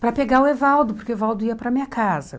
para pegar o Evaldo, porque o Evaldo ia para minha casa.